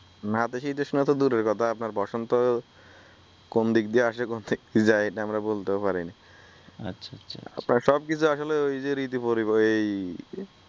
নতিশীতোষ্ণ তো দুরের কথা আপনার বসন্ত কোন দিক দিয়ে আসে কোন দিক দিয়ে যায় এইটা আমরা বলতেও পারি না আচ্ছা আচ্ছা আপনার সব কিছু আসলে ঋতু পরিবর্তন অই আসলে